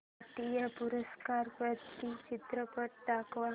राष्ट्रीय पुरस्कार प्राप्त चित्रपट दाखव